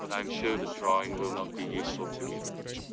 потому что этот человек говно ты есть ссылками